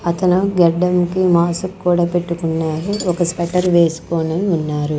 అతను గడ్డంకి మాస్క్ కూడా పెట్టుకున్నారు ఒక స్వెట్టర్ వేసుకొని ఉన్నారు.